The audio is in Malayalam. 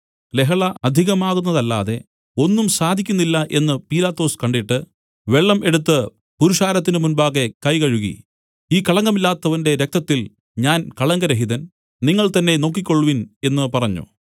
ലഹള അധികമാകുന്നതല്ലാതെ ഒന്നും സാധിക്കുന്നില്ല എന്നു പീലാത്തോസ് കണ്ടിട്ട് വെള്ളം എടുത്തു പുരുഷാരത്തിന് മുൻപാകെ കൈ കഴുകി ഈ കളങ്കമില്ലാത്തവന്റെ രക്തത്തിൽ ഞാൻ കളങ്കരഹിതൻ നിങ്ങൾ തന്നേ നോക്കിക്കൊൾവിൻ എന്നു പറഞ്ഞു